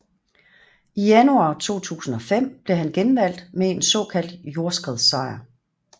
I januar 2005 blev han genvalgt med en såkaldt jordskredssejr